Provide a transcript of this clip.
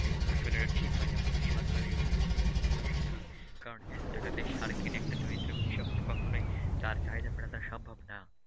আসলে এটা ঠিক হয়নি আমাদের সরকারের উচিত এদিকে নজর রাখা, কারণ এত টাকা দিয়ে সার কিনে একটা দরিদ্র কৃষক তো কখনোই তার চাহিদা মেটানো সম্ভব না।